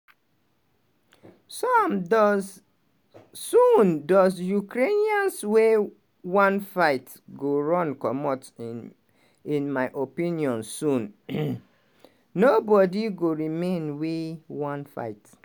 "some dose soon dose ukrainians wey wan fight go run comot inin my opinion soon nobodi go remain wey wan fight.